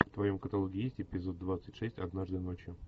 в твоем каталоге есть эпизод двадцать шесть однажды ночью